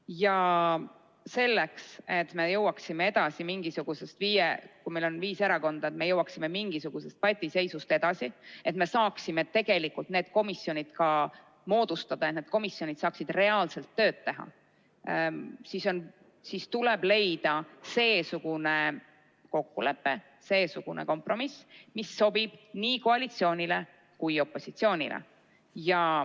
Ja selleks, et me jõuaksime, kui meil on viis erakonda, mingisugusest patiseisust edasi, et me saaksime ka tegelikult need komisjonid moodustada ja need saaksid reaalselt tööd teha, tuleb leida seesugune kokkulepe, kompromiss, mis sobib nii koalitsioonile kui ka opositsioonile.